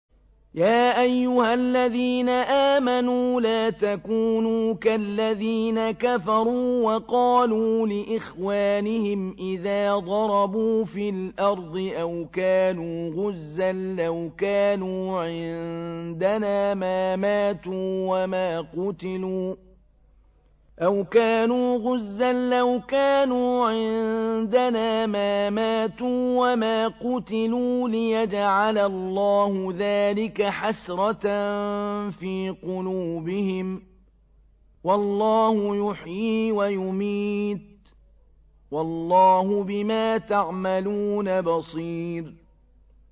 يَا أَيُّهَا الَّذِينَ آمَنُوا لَا تَكُونُوا كَالَّذِينَ كَفَرُوا وَقَالُوا لِإِخْوَانِهِمْ إِذَا ضَرَبُوا فِي الْأَرْضِ أَوْ كَانُوا غُزًّى لَّوْ كَانُوا عِندَنَا مَا مَاتُوا وَمَا قُتِلُوا لِيَجْعَلَ اللَّهُ ذَٰلِكَ حَسْرَةً فِي قُلُوبِهِمْ ۗ وَاللَّهُ يُحْيِي وَيُمِيتُ ۗ وَاللَّهُ بِمَا تَعْمَلُونَ بَصِيرٌ